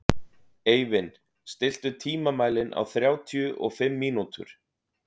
Eivin, stilltu tímamælinn á þrjátíu og fimm mínútur.